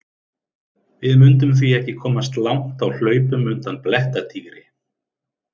Við mundum því ekki komast langt á hlaupum undan blettatígri!